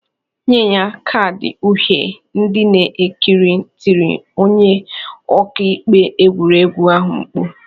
"Nye ya kaadị uhie" ndị na-ekiri tiri onye ọka ikpe egwuriegwu ahụ mkpu. "